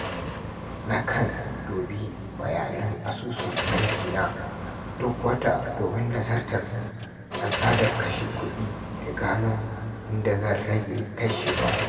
Nakan dubi bayanan asusun banki na duk wata domin nazartar al’adar kashe kuɗi da gano inda zan rage kashewa.